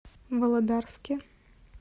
володарске